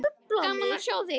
Gaman að sjá þig.